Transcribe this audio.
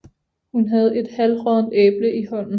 Hun havde et halvråddent æble i hånden